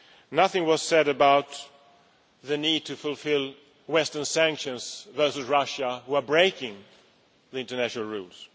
Nothing was said about the need to fulfil Western sanctions against Russia, which is breaking international rules.